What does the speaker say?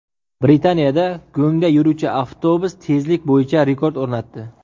Britaniyada go‘ngda yuruvchi avtobus tezlik bo‘yicha rekord o‘rnatdi.